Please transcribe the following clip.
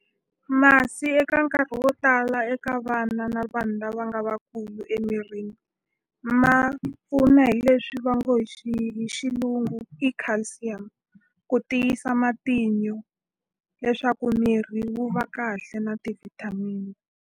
Masi eka nkarhi wo tala eka vana na vanhu lava nga vakulu emirini ma pfuna hi leswi va ngo hi hi xilungu i calcium ku tiyisa matinyo leswaku mirhi wu va kahle na ti-vitamin.